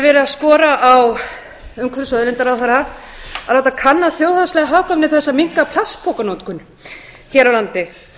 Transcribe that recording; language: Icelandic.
er verið að skora á umhverfis og auðlindaráðherra að láta kanna þjóðhagslega hagkvæmni þess að minnka plastpokanotkun hér á landi